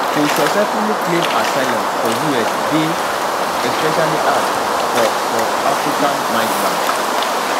to successfully claim asylum for us dey especially hard for for african migrants